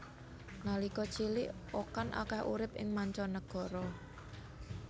Nalika cilik Okan akeh urip ing manca negara